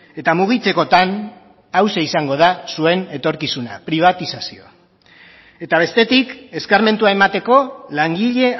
eta mugitzekotan hauxe izango da zuen etorkizuna pribatizazioa eta bestetik eskarmentua emateko langile